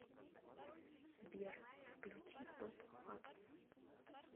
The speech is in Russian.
сбер включи топ фактс